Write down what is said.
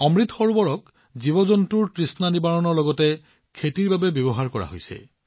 অমৃত সৰোবৰক জীৱজন্তুৰ তৃষ্ণা নিবাৰণৰ লগতে খেতিৰ বাবেও ব্যৱহাৰ কৰা হৈছে